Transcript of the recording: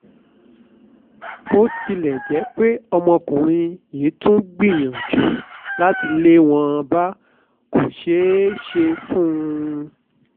bó tilẹ̀ jẹ́ pé ọmọkùnrin yìí tún gbìyànjú àti lé wọn bá kò ṣeé ṣe fún un